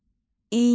İynə.